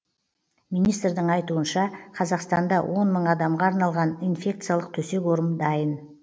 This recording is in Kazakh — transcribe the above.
министрдің айтуынша қазақстанда он мың адамға арналған инфекциялық төсек орын дайын